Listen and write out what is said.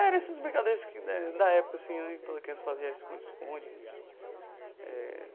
Eram essas brincadeiras de cri né da época assim né, que toda criança fazia, esconde-esconde eh.